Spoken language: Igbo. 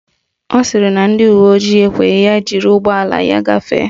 Ọ sịrị na ndị uwe ojii ekweghị ya jiri ụgbọala ya gafee.